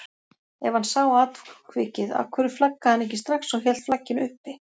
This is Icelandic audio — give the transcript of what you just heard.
Ef hann sá atvikið af hverju flaggaði hann ekki strax og hélt flagginu uppi?